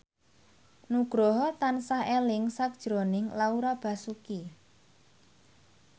Nugroho tansah eling sakjroning Laura Basuki